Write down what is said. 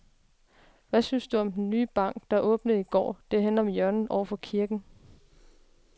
Hvad synes du om den nye bank, der åbnede i går dernede på hjørnet over for kirken?